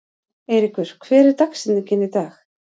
Eyríkur, hver er dagsetningin í dag?